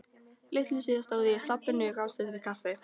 Litlu síðar stóð ég í slabbinu á gangstéttinni við Kaffi